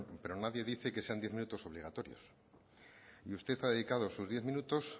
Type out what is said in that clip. pero nadie dice que sean diez minutos obligatorios y usted ha dedicado sus diez minutos